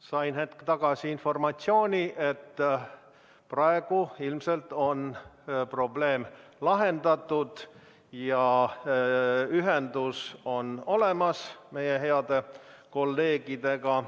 Sain hetk tagasi informatsiooni, et praegu ilmselt on probleem lahendatud ja ühendus on meie heade kolleegidega olemas.